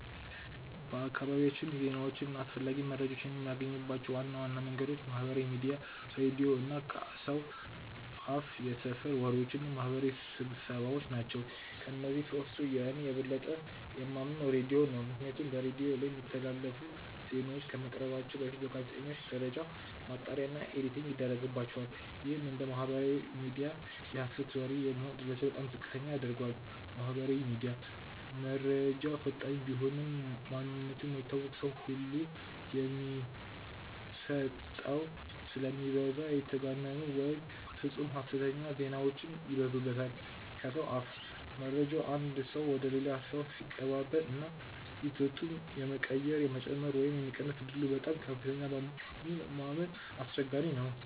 በአካባቢያችን ዜናዎችን እና አስፈላጊ መረጃዎችን የምናገኝባቸው ዋና ዋና መንገዶች ማህበራዊ ሚዲያ፣ ሬዲዮ እና ከሰው አፍየሰፈር ወሬዎች እና ማህበራዊ ስብሰባዎ ናቸው። ከእነዚህ ሶስቱ እኔ የበለጠ የማምነው ሬዲዮን ነው። ምክንያቱም በሬዲዮ ላይ የሚተላለፉ ዜናዎች ከመቅረባቸው በፊት በጋዜጠኞች ደረጃ ማጣሪያ እና ኤዲቲንግ ይደረግባቸዋል። ይህም እንደ ማህበራዊ ሚዲያ የሀሰት ወሬ የመሆን እድላቸውን በጣም ዝቅተኛ ያደርገዋል። ማህበራዊ ሚዲያ፦ መረጃው ፈጣን ቢሆንም፣ ማንነቱ የማይታወቅ ሰው ሁሉ የሚโพስተው ስለሚበዛ የተጋነኑ ወይም ፍፁም ሀሰተኛ ዜናዎች ይበዙበታል። ከሰው አፍ፦ መረጃው ከአንድ ሰው ወደ ሌላ ሰው ሲቀባበል ዋናው ይዘቱ የመቀየር፣ የመጨመር ወይም የመቀነስ ዕድሉ በጣም ከፍተኛ በመሆኑ ለማመን አስቸጋሪ ነው።